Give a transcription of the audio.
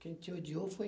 Quem te odiou foi